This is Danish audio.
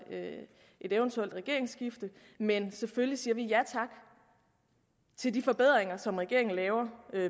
et eventuelt regeringsskifte men selvfølgelig siger vi ja tak til de forbedringer som regeringen laver